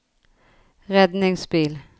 redningsbil